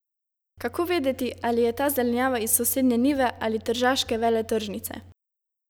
Kako vedeti ali je ta zelenjava iz sosednje njive ali tržaške veletržnice?